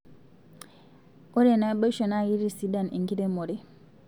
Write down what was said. Ore naboisho naa kitisidan enkiremero